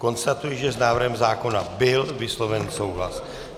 Konstatuji, že s návrhem zákona byl vysloven souhlas.